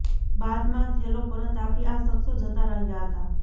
બાદમાં થેલો પરત આપી આ શખ્સો જતા રહ્યા હતા